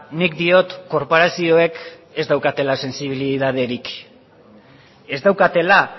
nik diot korporazioek ez daukatela sentsibilitaterik ez daukatela